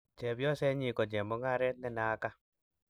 chepyosenyin ko chemung'aret ne naaka